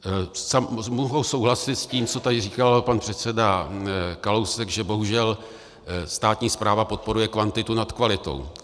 Mohu souhlasit s tím, co tady říkal pan předseda Kalousek, že bohužel státní správa podporuje kvantitu nad kvalitou.